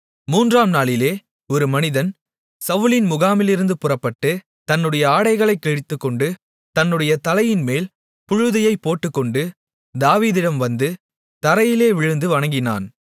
மூன்றாம் நாளிலே ஒரு மனிதன் சவுலின் முகாமிலிருந்து புறப்பட்டு தன்னுடைய ஆடைகளைக் கிழித்துக்கொண்டு தன்னுடைய தலையின்மேல் புழுதியைப் போட்டுக்கொண்டு தாவீதிடம் வந்து தரையிலே விழுந்து வணங்கினான்